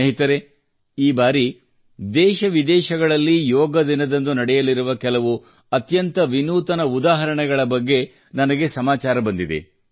ಸ್ನೇಹಿತರೆ ಈ ಬಾರಿ ದೇಶವಿದೇಶಗಳಲ್ಲಿ ಯೋಗ ದಿನದಂದು ನಡೆಯಲಿರುವ ಕೆಲವು ಅತ್ಯಂತ ವಿನೂತನ ಉದಾಹರಣೆಗಳ ಬಗ್ಗೆ ನನಗೆ ಸಮಾಚಾರ ಬಂದಿದೆ